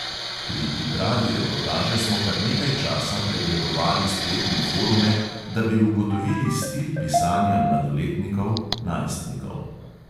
Pri pripravi reportaže smo kar nekaj časa pregledovali spletne forume, da bi ugotovili stil pisanja mladoletnikov, najstnikov.